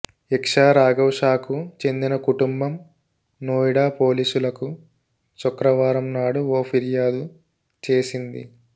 ఇక్షా రాఘవ్ షా కు చెందిన కుటుంబం నోయిడా పోలీసులకు శుక్రవారం నాడు ఓ ఫిర్యాదు చేసింది